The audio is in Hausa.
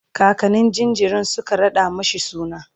kakannin jinjirin Suka raɗa mashi suna